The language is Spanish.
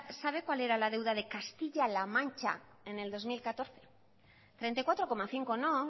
sabe cuál era la deuda de castilla la mancha en el dos mil catorce treinta y cuatro coma cinco no